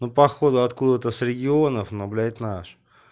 ну походу откуда-то с регионов но блять наш